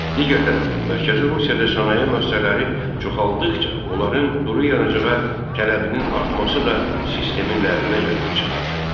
Digər tərəfdən, Mərkəzi Rusiyada sənaye müəssisələri çoxaltdıqca, onların duru yanacağa tələbinin artması da sistemin ləğvinə gətirib çıxardı.